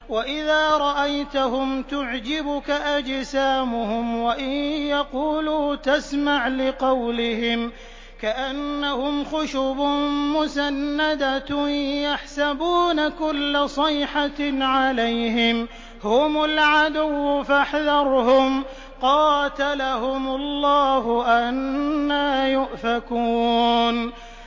۞ وَإِذَا رَأَيْتَهُمْ تُعْجِبُكَ أَجْسَامُهُمْ ۖ وَإِن يَقُولُوا تَسْمَعْ لِقَوْلِهِمْ ۖ كَأَنَّهُمْ خُشُبٌ مُّسَنَّدَةٌ ۖ يَحْسَبُونَ كُلَّ صَيْحَةٍ عَلَيْهِمْ ۚ هُمُ الْعَدُوُّ فَاحْذَرْهُمْ ۚ قَاتَلَهُمُ اللَّهُ ۖ أَنَّىٰ يُؤْفَكُونَ